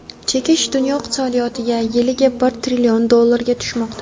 Chekish dunyo iqtisodiyotiga yiliga bir trillion dollarga tushmoqda.